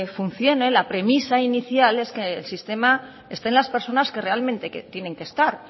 funcione la premisa inicial es que en el sistema estén las personas que realmente tienen que estar